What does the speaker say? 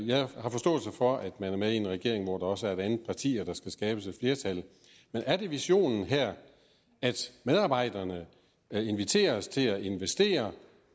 jeg har forståelse for at man er med i en regering hvor der også er et andet parti og at der skal skabes et flertal men er det visionen her at medarbejderne inviteres til at investere